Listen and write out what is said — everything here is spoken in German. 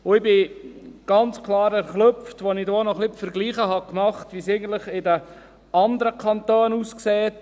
Ich erschrak ganz klar, als ich ein wenig verglich, wie es eigentlich in den anderen Kantonen aussieht.